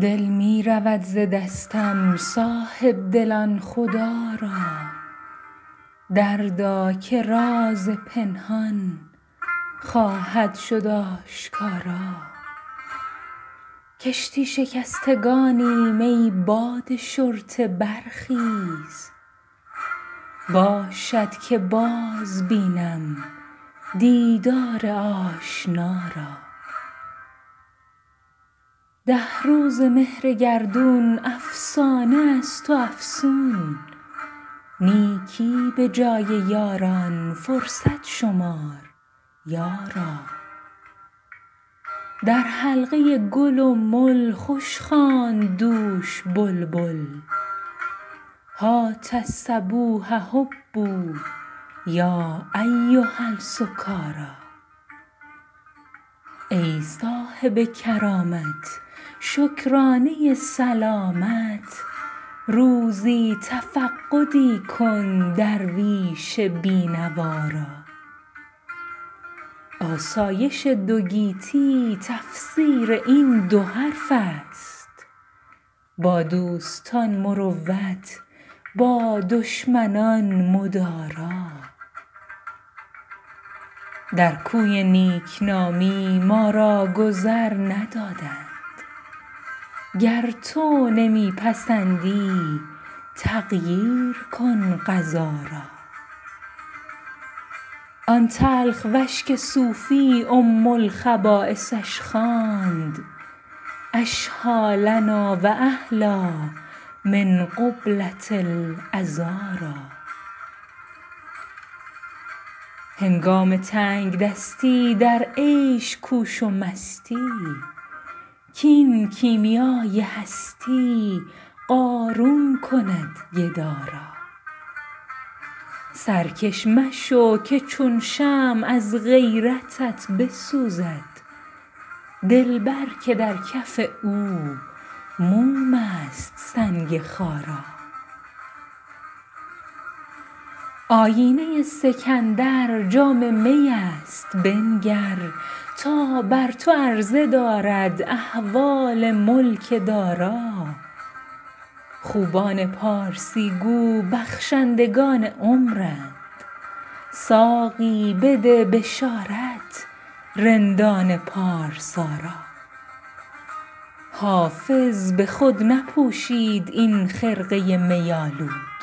دل می رود ز دستم صاحب دلان خدا را دردا که راز پنهان خواهد شد آشکارا کشتی شکستگانیم ای باد شرطه برخیز باشد که باز بینم دیدار آشنا را ده روزه مهر گردون افسانه است و افسون نیکی به جای یاران فرصت شمار یارا در حلقه گل و مل خوش خواند دوش بلبل هات الصبوح هبوا یا ایها السکارا ای صاحب کرامت شکرانه سلامت روزی تفقدی کن درویش بی نوا را آسایش دو گیتی تفسیر این دو حرف است با دوستان مروت با دشمنان مدارا در کوی نیک نامی ما را گذر ندادند گر تو نمی پسندی تغییر کن قضا را آن تلخ وش که صوفی ام الخبایثش خواند اشهیٰ لنا و احلیٰ من قبلة العذارا هنگام تنگ دستی در عیش کوش و مستی کاین کیمیای هستی قارون کند گدا را سرکش مشو که چون شمع از غیرتت بسوزد دلبر که در کف او موم است سنگ خارا آیینه سکندر جام می است بنگر تا بر تو عرضه دارد احوال ملک دارا خوبان پارسی گو بخشندگان عمرند ساقی بده بشارت رندان پارسا را حافظ به خود نپوشید این خرقه می آلود